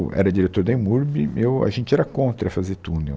Era diretor da EMURB, eu a gente era contra fazer túnel.